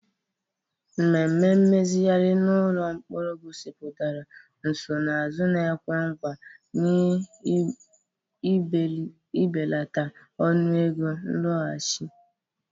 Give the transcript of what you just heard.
Mmemme mmezigharị n'ụlọ mkpọrọ gosipụtara nsonaazụ na-ekwe nkwa na ibelata ọnụego nlọghachi.